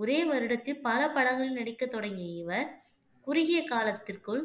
ஒரே வருடத்தில் பல படங்களில் நடிக்க தொடங்கிய இவர் குறுகிய காலத்திற்குள்